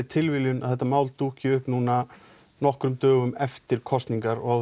tilviljun að þetta mál dúkki upp núna nokkrum dögum eftir kosningar og